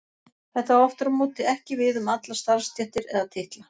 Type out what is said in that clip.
Þetta á aftur á móti ekki við um allar starfstéttir eða titla.